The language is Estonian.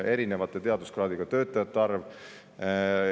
Oleme ausad, teaduskraadiga töötajate arv on kahekordistunud.